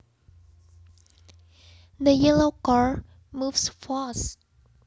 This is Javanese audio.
The yellow car moves fast